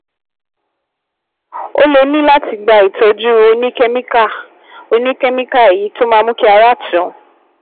Ó lè ní láti gba ìtọ́jú oníkẹ́míkà, oníkẹ́míkà, èyí tó máa mú kí ara tù ú